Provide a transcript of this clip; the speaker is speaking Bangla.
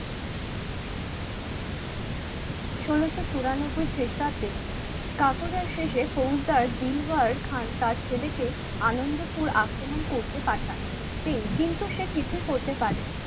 ষোলশো চুরানব্বই খ্রিস্টাব্দে কাকুটার শেষে পৌলতার দিলওয়ার খান তার ছেলেকে আনন্দপুর আক্রমণ করতে পাঠান তিনি কিন্তু সে কিছুই করতে পারেনি